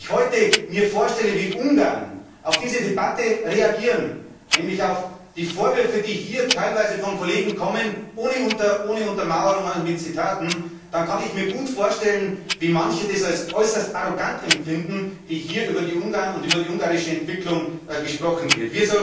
Wenn ich mir heute vorstelle, wie Ungarn auf diese Debatte reagieren, nämlich auf die Vorwürfe, die hier teilweise von Kollegen kommen, ohne Untermauerung mit Zitaten, dann kann ich mir gut vorstellen, dass manche es als äußerst arrogant empfinden, wie hier über die Ungarn und über die ungarische Entwicklung gesprochen wird.